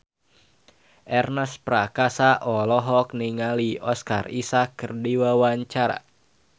Ernest Prakasa olohok ningali Oscar Isaac keur diwawancara